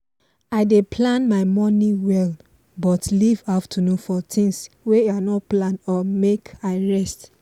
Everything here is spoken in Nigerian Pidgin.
i dey plan my morning well but leave afternoon for things wey i no plan or make i rest